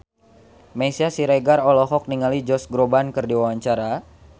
Meisya Siregar olohok ningali Josh Groban keur diwawancara